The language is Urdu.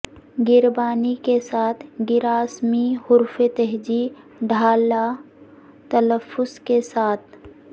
گربانی کے ساتھ گراسمی حروف تہجی ڈھالہ تلفظ کے ساتھ